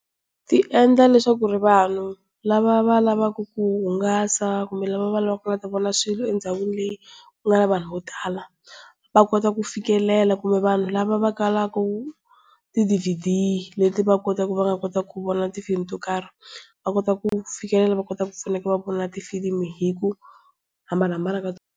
Ti endla leswaku vanhu lava va lavaku ku hungasa kumbe lava va lavaka ku ta vona swilo endhawini leyi ku nga na vanhu va tala, va kota ku fikelela kumbe vanhu lava va kalaku ti-DVD leti va va kota ku fikelela vona tifilimi to karhi. Va kota ku fikelela va kota ku pfuneka va vona tifilimi hi ku hambahambana ka .